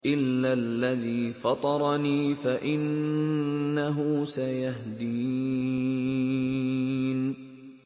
إِلَّا الَّذِي فَطَرَنِي فَإِنَّهُ سَيَهْدِينِ